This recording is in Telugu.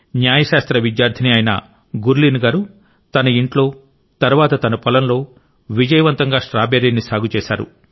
న్యాయ శాస్త్ర విద్యార్థిని అయిన గుర్లీన్ గారు తన ఇంట్లో తరువాత తన పొలంలో విజయవంతంగా స్ట్రాబెర్రీని సాగు చేశారు